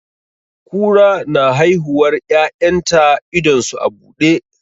Kura na haihuwar 'ya'yan ta idon su a buɗe.